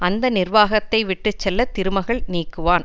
அந்த நிர்வாகத்தை விட்டு செல்வ திருமகள் நீக்குவான்